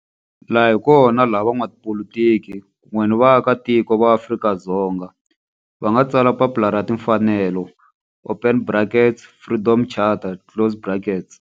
Laha hi kona la van'watipolitiki kun'we ni vaaka tiko va Afrika-Dzonga va nga tsala papila ra timfanelo, open brackets, Freedom Charter, closed brackets.